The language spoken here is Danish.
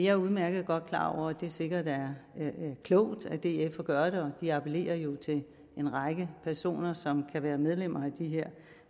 er udmærket klar over at det sikkert er klogt af df at gøre det appellerer jo til en række personer som kan være medlem af de her